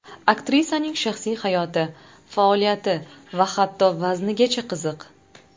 Aktrisaning shaxsiy hayoti, faoliyati va hatto vaznigacha qiziq.